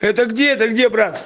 это где это где брат